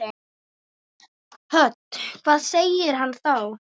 Hödd: Hvað segir hann þá?